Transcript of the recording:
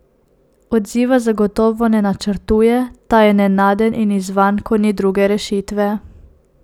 Odziva zagotovo ne načrtuje, ta je nenaden in izzvan, ko ni druge rešitve.